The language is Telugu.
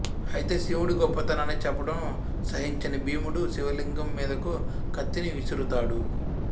అయితే శివుడి గొప్పతనాన్ని చెప్పడం సహించని భీముడు శివలింగం మీదకు కత్తిని విసరుతాడు